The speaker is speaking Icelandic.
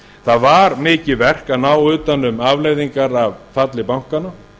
það var mikið verk að ná utan um afleiðingar af falli bankanna